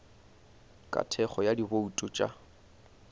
ka thekgo ya dibouto tša